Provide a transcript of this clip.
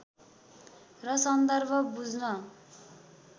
र सन्दर्भ बुझ्न